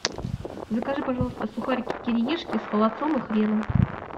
закажи пожалуйста сухарики кириешки с холодцом и хреном